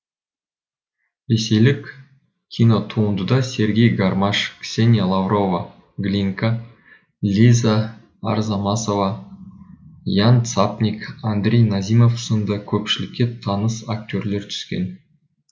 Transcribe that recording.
ресейлік кинотуындыда сергей гармаш ксения лаврова глинка лиза арзамасова ян цапник андрей назимов сынды көпшілікке таныс актерлер түскен